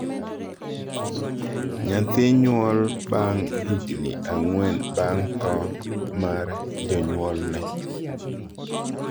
Nyathi nyuol bang' higni ang'wen bang' tho mar jonyuolne